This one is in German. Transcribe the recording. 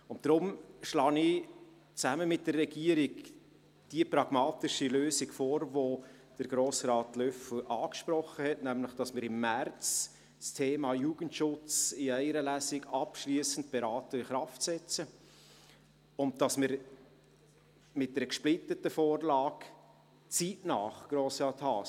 Deshalb schlage ich zusammen mit der Regierung die pragmatische Lösung vor, die Grossrat Löffel angesprochen hat, nämlich, dass wir im März das Thema Jugendschutz in einer Lesung abschliessend beraten und in Kraft setzen, und dass wir mit einer gesplitteten Vorlage kommen – zeitnah, Grossrat Haas.